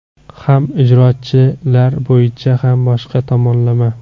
Ham ijrochilar bo‘yicha, ham boshqa tomonlama.